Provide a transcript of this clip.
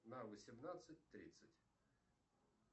на восемнадцать тридцать